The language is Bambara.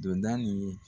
Don da ni